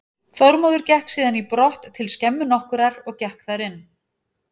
Þormóður gekk síðan í brott til skemmu nokkurrar, gekk þar inn.